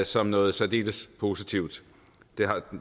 som noget særdeles positivt det